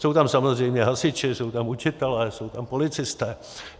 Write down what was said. Jsou tam samozřejmě hasiči, jsou tam učitelé, jsou tam policisté.